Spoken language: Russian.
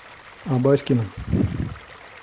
абаськина